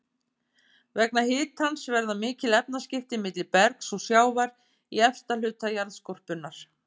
Vegna hitans verða mikil efnaskipti milli bergs og sjávar í efsta hluta jarðskorpunnar.